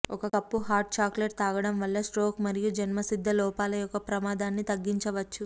ఒక కప్పు hot chocolate త్రాగడం వల్ల స్ట్రోక్ మరియు జన్మసిద్ధ లోపాల యొక్క ప్రమాధాన్ని తగ్గించవచ్చు